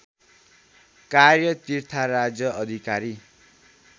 कार्य तीर्थराज अधिकारी